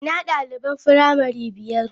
Ina daliban firamare biyar?